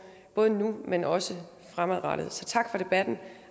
både nu men også fremadrettet så tak for debatten